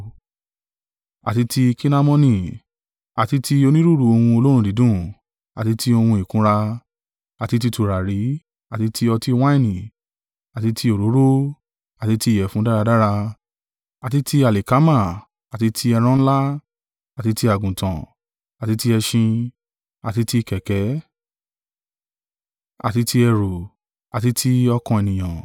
Àti ti Kinamoni, àti ti onírúurú ohun olóòórùn dídùn, àti ti ohun ìkunra, àti tí tùràrí, àti ti ọtí wáìnì, àti ti òróró, àti ti ìyẹ̀fun dáradára, àti ti alikama, àti ti ẹran ńlá, àti ti àgùntàn, àti ti ẹṣin, àti ti kẹ̀kẹ́, àti ti ẹrú, àti ti ọkàn ènìyàn.